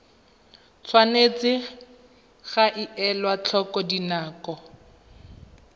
tshwanetse ga elwa tlhoko dinako